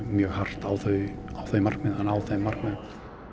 mjög hart á þau þau markmið að ná þeim markmiðum